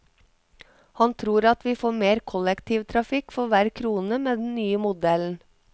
Han tror at vi får mer kollektivtrafikk for hver krone med den nye modellen.